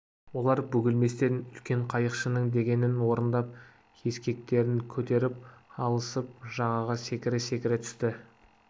олар бөгелместен үлкен қайықшының дегенін орындап ескектерін көтеріп алысып жағаға секіре-секіре түсті